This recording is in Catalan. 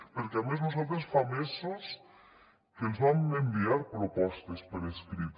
perquè a més nosaltres fa mesos que els vam enviar propostes per escrit